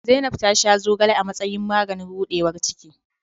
Zainabu ta sha zogale a matsayin maganin rudewar ciki.